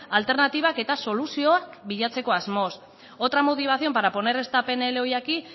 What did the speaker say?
alternatibak eta soluzioak bilatzeko asmoz otra motivación para poner eta pnl hoy aquí